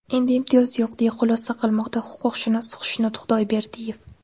Endi imtiyoz yo‘q, deya xulosa qilmoqda huquqshunos Xushnud Xudoyberdiyev.